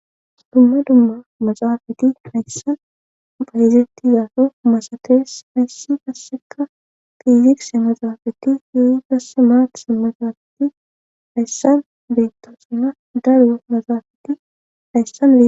dumma dumma maxaafati hayssan bayizettizaso masatees haysssi kasseka fiizikse maxaafakki yuuyi dasse maatise maxaafati hayssan beettoo sina daryo maxaafati hayssam